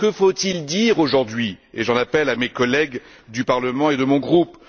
Que faut il dire aujourd'hui et j'en appelle à mes collègues du Parlement et de mon groupe?